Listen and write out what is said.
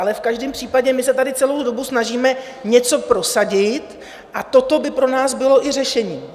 Ale v každém případě my se tady celou dobu snažíme něco prosadit a toto by pro nás bylo i řešení.